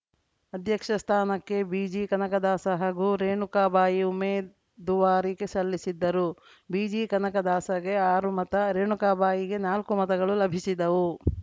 ಅಧ್ಯಕ್ಷ ಸ್ಥಾನಕ್ಕೆ ಬಿಜಿ ಕನಕದಾಸ ಹಾಗೂ ರೇಣುಕಾಬಾಯಿ ಉಮೇದುವಾರಿಕೆ ಸಲ್ಲಿಸಿದ್ದರು ಬಿಜಿ ಕನಕದಾಸಗೆ ಆರು ಮತ ರೇಣುಕಾಬಾಯಿಗೆ ನಾಲ್ಕು ಮತಗಳು ಲಭಿಸಿದವು